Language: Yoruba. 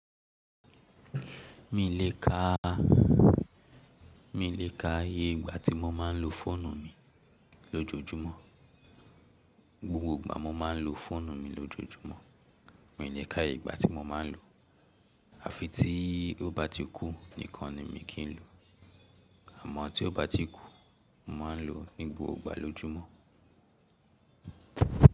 Mi le ka, mi le ka iye ìgbà tí mo máa ń lo fóònù mi lójoójúmọ́. Gbogbo ìgbà mo máa ń lo fóònù mi lójoójúmọ́. Mi lè ka ìgbà tí mo máa ń lo, à fi tí ó bá ti kú nìkan ni mi kì í lò. Àmọ́ tí ó bá ti kú, mo máa ń lò ó ní gbogbo ìgbà lójúmọ́.